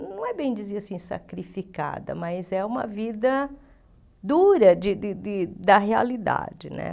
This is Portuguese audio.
Não é bem dizer assim, sacrificada, mas é uma vida dura de de de da realidade, né?